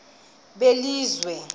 belizwe